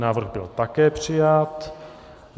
Návrh byl také přijat.